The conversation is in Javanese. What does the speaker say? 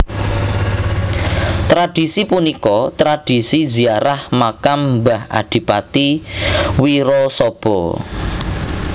Tradhisi punika tradhisi ziarah makam mbah Adipati Wirasaba